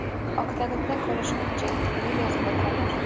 Oktagonda ko‘rishguncha”, deb yozadi Konor.